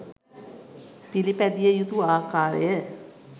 පිළිපැදිය යුතු ආකාරය.